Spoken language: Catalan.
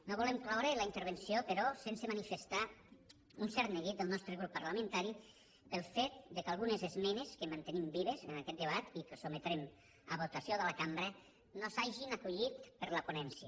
no volem cloure la intervenció però sense manifestar un cert neguit del nostre grup parlamentari pel fet que algunes esmenes que mantenim vives en aquest debat i que sotmetrem a votació de la cambra no s’hagin acollit per la ponència